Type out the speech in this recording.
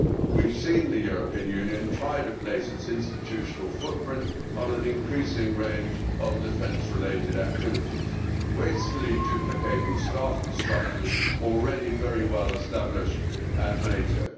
We have seen the European Union try to place its institutional footprint on an increasing range of defence related activities, wastefully duplicating staff and structures already very well established at NATO.